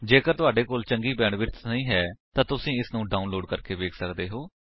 ਜੇਕਰ ਤੁਹਾਡੇ ਕੋਲ ਚੰਗੀ ਬੈਂਡਵਿਡਥ ਨਹੀਂ ਹੈ ਤਾਂ ਤੁਸੀ ਇਸਨੂੰ ਡਾਉਨਲੋਡ ਕਰਕੇ ਵੇਖ ਸੱਕਦੇ ਹੋ